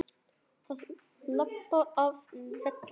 Að labba af velli?